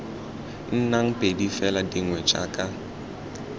nnang pedi fela dingwe jaka